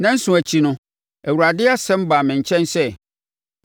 Nnanson akyi no, Awurade asɛm baa me nkyɛn sɛ: